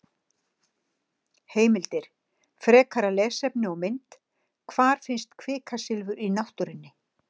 Heimildir, frekara lesefni og mynd: Hvar finnst kvikasilfur í náttúrunni?